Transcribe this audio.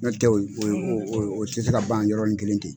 N'o tɛ o o o tɛse ka ban yɔrɔ nin kelen ten.